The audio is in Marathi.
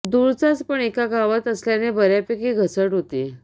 दूरचाच पण एका गावात असल्याने बऱ्यापैकी घसट होती